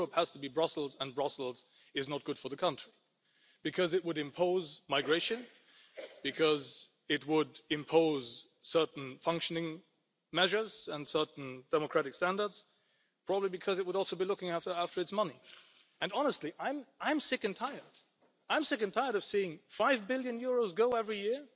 Europe has to be Brussels, and Brussels is not good for the country. Because it would impose migration, because it would impose certain functioning measures and certain democratic standards, probably because it would also be looking after its money. And honestly, I am sick and tired of seeing EUR five billion go every year